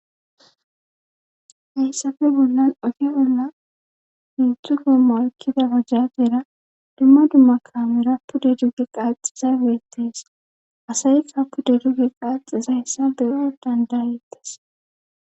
hayssafe bollan oge bolla hezdu gomma aykkida bajajeera dumma dumma kaamera pu deduge qaaxiza beettees asayka pude duge qaaxizayssa beyo dandayettas